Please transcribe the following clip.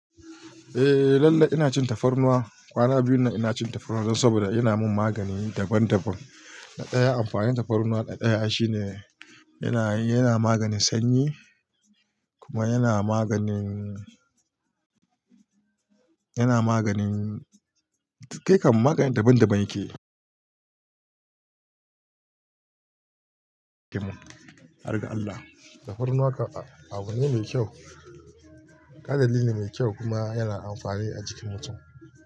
Eh lallai ina cin tafarnuwa, kwana biyun ina cin tafarnuwa dan saboda yana mun magani daban daban. Na ɗaya amfanin tafarnuwa na ɗaya shine yana, yana maganin sanyi kuma yana maganin, yana maganin, kai kam magani daban daban yakeyi argan Allah tafarnuwa abu ne mai kyau, ƙadar ne mai kyau kuma yana amfani a jikin mutum.